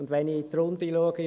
Wenn ich in die Runde schaue: